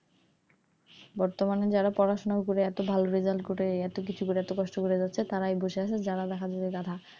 বর্তমানে যারা পড়াশোনা করে এত ভালো result করে এত কিছু করে এত কষ্ট করে যাচ্ছে তারাই বসে আছে তারা দেখা যায় যে গাধা,